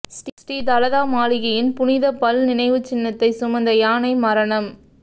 ஸ்ரீ தலதா மாளிகையின் புனித பல் நினைவுச்சின்னத்தை சுமந்த யானை மரணம்